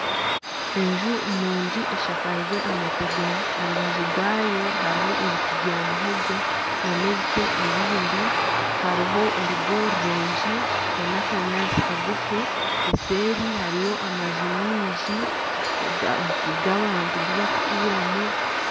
Enju nungi eshakiirwe amategura, aha rubaju rwayo hariho ebiti bya muhogo nana ebiti ebindi hariho orugo rurungi n'akanyaantsi kagufu eseeri hariyo amaju mingi g'abantu gubakuturamu.